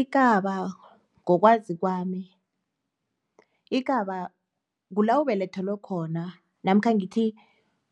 Ikaba ngokwazi kwami, kula ubelethelwe khona namkha ngithi